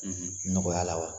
nɔgɔya la wa?